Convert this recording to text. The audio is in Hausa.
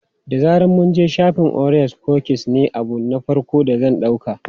Da zaran mun je shafin, orea kukis ne abu na farko da zan ɗauka.